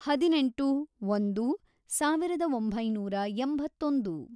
ಹದಿನೆಂಟು, ಒಂದು, ಸಾವಿರದ ಒಂಬೈನೂರ ಎಂಬತ್ತೊಂದು